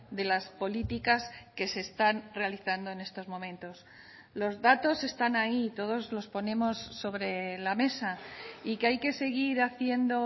de las políticas que se están realizando en estos momentos los datos están ahí y todos los ponemos sobre la mesa y que hay que seguir haciendo